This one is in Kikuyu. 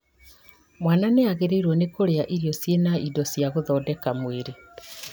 Mwana nĩagĩrĩirwo nĩ kũrĩa irio ciĩna indo cia gũthondeka mwĩrĩ